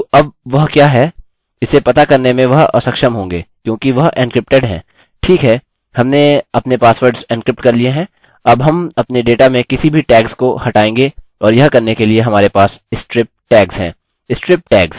ठीक है हमने अपने पासवर्ड्स एन्क्रिप्ट कर लिए हैं अब हम अपने डेटा में किसी भी टैग्स को हटाएँगे और यह करने के लिए हमारे पास strip टैग्स हैं